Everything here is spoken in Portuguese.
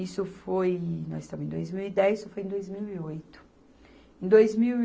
Isso foi... nós estamos em dois mil e dez, isso foi em dois mil e oito. Em dois mil